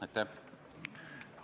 Aitäh!